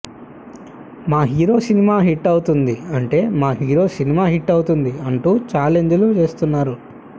మా hero cinema hit అవుతుంది అంటే మా హీరో సినిమా హిట్ అవుతుంది అంటూ ఛాలెంజ్ లు చేస్తున్నారు